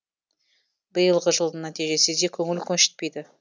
биылғы жылдың нәтижесі де көңіл көншітпейді